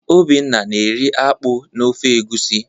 Obinna na-eri akpu na ofe egusi.